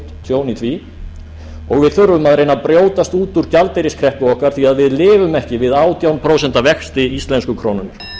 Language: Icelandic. og við þurfum að reyna að brjótast út úr gjaldeyriskreppu okkar því við lifum ekki við átján prósent vexti íslensku krónunnar